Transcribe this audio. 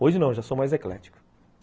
Hoje não, já sou mais eclético.